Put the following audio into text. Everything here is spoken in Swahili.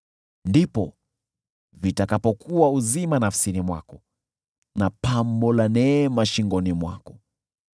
ndipo vitakapokuwa uzima nafsini mwako na pambo la neema shingoni mwako.